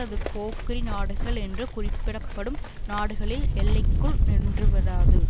அது போக்கிரி நாடுகள் என்று குறிப்பிடப்படும் நாடுகளின் எல்லைக்குள் நின்று விடாது